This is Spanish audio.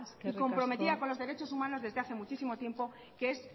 eskerrik asko y comprometida con los derechos humanos desde hace muchísimo tiempo que es